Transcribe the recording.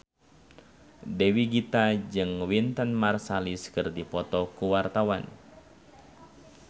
Dewi Gita jeung Wynton Marsalis keur dipoto ku wartawan